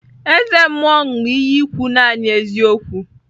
Eze mmuo ṅu iyi ikwu nani eziokwu.